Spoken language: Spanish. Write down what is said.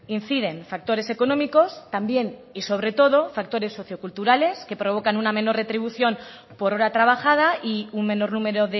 incide en factores económicos también y sobre todo factores socioculturales que provocan una mejor retribución por hora trabajada y un menor número